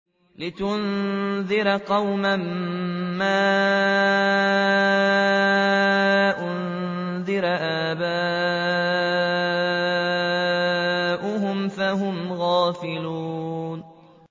لِتُنذِرَ قَوْمًا مَّا أُنذِرَ آبَاؤُهُمْ فَهُمْ غَافِلُونَ